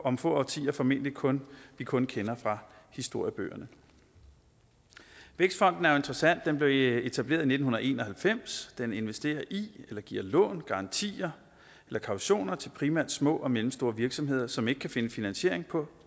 om få årtier formentlig kun kun kender fra historiebøgerne vækstfonden er interessant den blev etableret i nitten en og halvfems den investerer i giver lån garantier eller kautioner til primært små og mellemstore virksomheder som ikke kan finde finansiering på